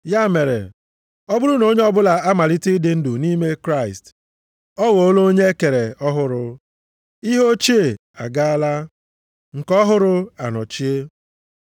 Ya mere, ọ bụrụ na onye ọbụla amalite ịdị ndụ nʼime Kraịst, ọ ghọọla onye e kere ọhụrụ, ihe ochie agaala, nke ọhụrụ anọchie.